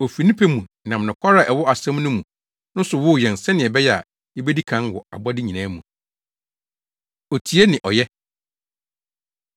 Ofi ne pɛ mu nam nokware a ɛwɔ asɛm no mu no so woo yɛn sɛnea ɛbɛyɛ a, yebedi kan wɔ abɔde nyinaa mu. Otie Ne Ɔyɛ